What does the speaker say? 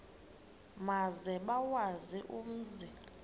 maze bawazi umzi